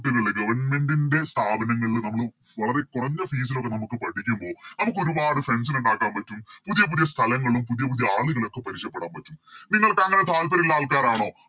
ലുള്ള Government ൻറെ സ്ഥാപനങ്ങളില് നമ്മൾ വളരെ കൊറഞ്ഞ Fees ലോക്കെ നമുക്ക് പഠിക്കുമ്പോൾ നമുക്ക് ഒരുപാട് Friends നെ ഉണ്ടാക്കാൻ പറ്റും പുതിയ പുതിയ സ്ഥലങ്ങളും പുതിയ പുതിയ ആളുകളൊക്കെ പരിചയപ്പെടാൻ പറ്റും നിങ്ങൾക്ക് അങ്ങനെ താൽപ്പര്യം ഉള്ള ആൾക്കാരാണോ